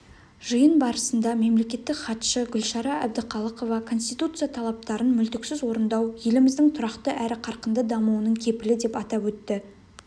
жиын барысында мемлекеттік хатшы гүлшара әбдіқалықова конституция талаптарын мүлтіксіз орындау еліміздің тұрақты әрі қарқынды дамуының кепілі деп атап өтті